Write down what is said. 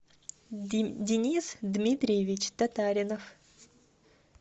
денис дмитриевич татаринов